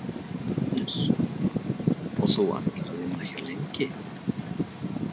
Jóhannes: Og þú ætlar að vera að vinna hér lengi?